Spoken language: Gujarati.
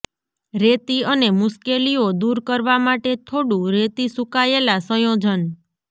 રેતી અને મુશ્કેલીઓ દૂર કરવા માટે થોડું રેતી સૂકાયેલા સંયોજન